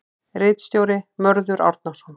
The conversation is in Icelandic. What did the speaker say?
Ritstjóri: Mörður Árnason.